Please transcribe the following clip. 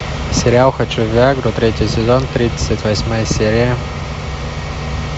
сериал хочу в виа гру третий сезон тридцать восьмая серия